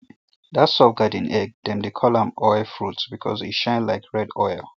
that soft garden egg dem dey call am oil fruit because e shine like red oil